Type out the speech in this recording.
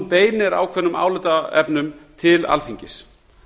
beinir ákveðnum álitaefnum til alþingis